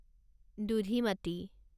Dudhimati